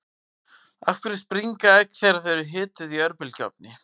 af hverju springa egg þegar þau eru hituð í örbylgjuofni